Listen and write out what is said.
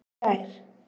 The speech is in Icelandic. Í gær